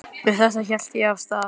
Með þetta hélt ég af stað.